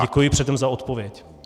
Děkuji předem za odpověď.